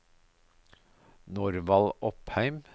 Norvald Opheim